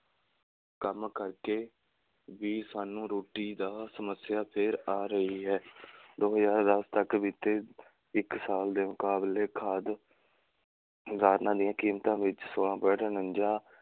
ਕੰਮ ਕਰਕੇ ਵੀ ਸਾਨੂੰ ਰੋਟੀ ਦਾ ਸਮੱਸਿਆ ਫੇਰ ਆ ਰਹੀ ਹੈ ਦੋ ਹਜ਼ਾਰ ਦਸ ਤੱਕ ਬੀਤੇ ਇੱਕ ਸਾਲ ਦੇ ਮੁਕਾਬਲੇ ਖਾਦ ਦੀਆਂ ਕੀਮਤਾਂ ਵਿੱਚ ਛੋਲਾਂ point ਉਨੰਜਾ,